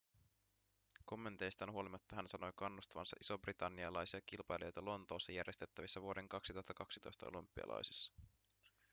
kommenteistaan huolimatta hän sanoi kannustavansa isobritannialaisia kilpailijoita lontoossa järjestettävissä vuoden 2012 olympialaisissa